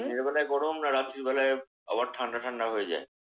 দিনের বেলা গরম নাকি রাত্রি বেলা আবার ঠান্ডা ঠান্ডা হয়ে যায়?